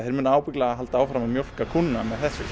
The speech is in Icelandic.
þeir munu ábyggilega halda áfram að mjólka kúna